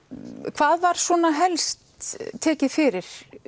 hvað var svona helst tekið fyrir